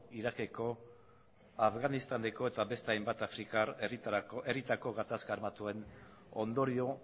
irakeko afganistaneko eta beste hainbat afrikar herrietako gatazka armatuen ondorio